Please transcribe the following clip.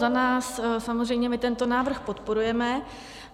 Za nás samozřejmě, my tento návrh podporujeme.